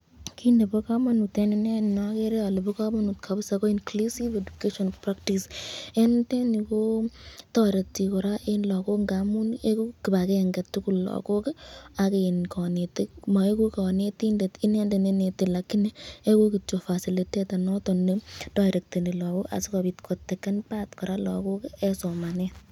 Kiit nebo komonut en ineei nokeree olee bokomonut kabisaa ko inclusive education practice, en nitet nii kotoreti kora en lokok ng'amun ikuu kibakeng'e tukul lokok ak konetik, moikuu konetindet inendet neinete lakini ikuu kityok facilitator noton netoirekteni lokok asikobiit koteken part kora lokok en somanet.